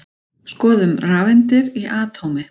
Skoðum rafeindir í atómi.